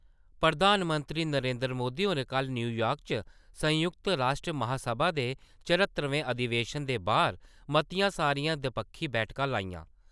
प्रधानमंत्री नरेन्द्र मोदी होरें कल न्यूयार्क च संयुक्त राश्ट्र महासभा दे चरह्त्तरमें अधिवेशन दे बारै मतियां सारियां दपक्खी बैठकां लाइयां ।